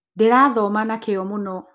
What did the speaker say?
Ndĩrathoma na kĩo mũno.